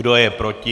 Kdo je proti?